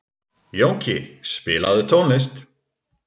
Jónki, spilaðu tónlist.